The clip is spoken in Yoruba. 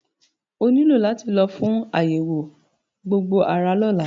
O ní láti lọ fún àyẹ̀wò gbogbo ara lọ́la.